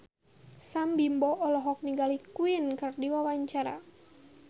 Sam Bimbo olohok ningali Queen keur diwawancara